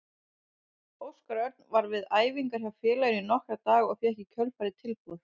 Óskar Örn var við æfingar hjá félaginu í nokkra daga og fékk í kjölfarið tilboð.